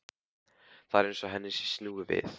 Það er eins og henni sé snúið við.